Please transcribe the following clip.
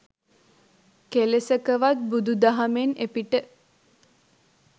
කෙලෙසකවත් බුදුදහමෙන් එපිට